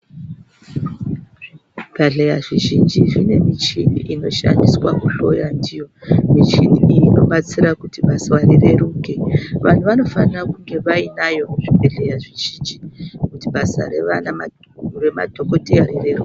Zvibhedhleya zvizhinji zvine michini inoshandiswa kuhloya ndiyo, michini iyi inobatsira kuti basa rireruke vantu vanofana kunge vainayo kuzvibhedhlera zvizhinji kuti basa remadhokodheya rireruke.